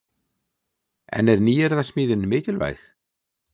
En er nýyrðasmíðin mikilvæg?